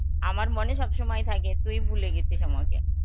আমার মনে সবসময় থাকে তুই ভুলে গেছিস আমাকে.